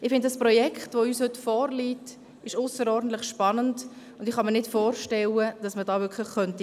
Ich halte das uns heute vorliegende Projekt für ausserordentlich spannend, und ich kann mir nicht wirklich vorstellen, dass man dagegen sein könnte.